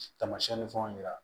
Tamasiyɛn ni fɛnw yira